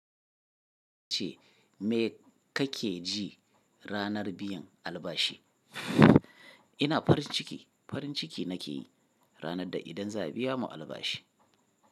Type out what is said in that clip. Ce me kake ji ranar biyan albashi? Ina farin ciki, farin ciki na ke yi ranar da idan za a biya mu albashi.